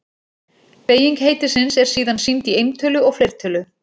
Beyging heitisins er síðan sýnd í eintölu og fleirtölu.